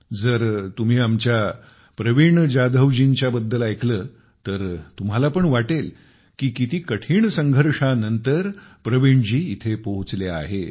जर तुम्ही आमच्या प्रवीण जाधवजींच्या बद्दल ऐकले तर तुम्हाला पण वाटेल की किती कठीण संघर्षानंतर प्रवीण जी इथे पोहोचले आहेत